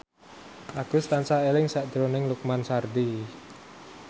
Agus tansah eling sakjroning Lukman Sardi